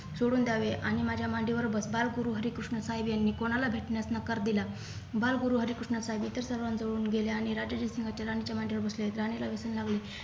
सोडून द्यावे आणि माझ्या मांडीवर बस बाल गुरु श्री हरे कृष्ण साहेब यांनी कोणाला भेटण्यास नकार दिला बालगुरू हरि कृष्ण साहेब इथे सर्वांजवळून गेले आणि राजे जयसिंग राणीच्या मांडीवर बसले आणि राणीला व्यसन लागले